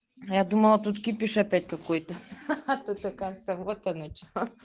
я думала тут кипиш опять какой-то ахаха тут оказывается вот оно че